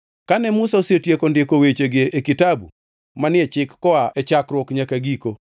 Kane Musa osetieko ndiko wechegi e kitabu manie chik koa e chakruok nyaka giko,